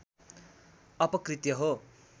अपकृत्य हो